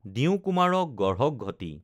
দিওঁ কুমাৰক গঢ়ক ঘটি